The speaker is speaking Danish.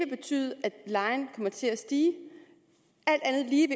betyde at lejen kommer til at stige alt andet lige